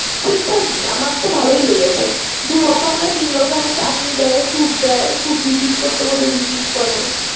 টা কি আমার তো ভালোই লেগেছে। দুরকম না তিন রকম চাটনি দেয়, সুপ দেয়। সুপ Rapid করতে বলবে। Rapid করে।